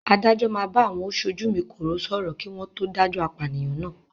Adájọ́ máa bá àwọn "Osojúmi-kòró" sọ̀rọ̀ kí wọn to dájọ́ apànìyàn náà.